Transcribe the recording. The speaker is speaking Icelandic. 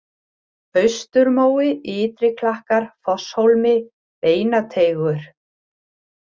Austurmói, Ytri-Klakkar, Fosshólmi, Beinateigur